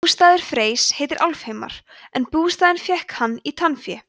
bústaður freys heitir álfheimar en bústaðinn fékk hann í tannfé